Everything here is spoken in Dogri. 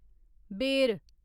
बेर